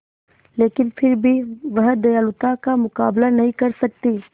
लेकिन फिर भी वह दयालुता का मुकाबला नहीं कर सकती